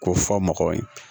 K'o fɔ mɔgɔw ye